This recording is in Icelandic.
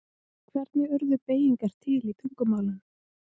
Hvernig urðu beygingar til í tungumálum?